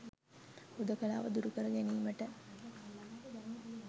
හුදකලාව දුරු කර ගැනීමට